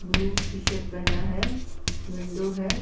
Blue T-shirt पेहना है window है।